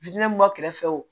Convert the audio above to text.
mun b'a kɛrɛfɛ o